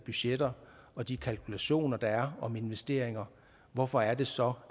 budgetter og de kalkulationer der er om investeringer hvorfor er det så